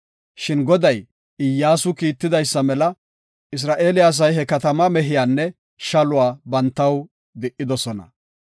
Shin Goday Iyyasu kiitidaysa mela Isra7eele asay he katamaa mehiyanne shaluwa bantaw di7idosona.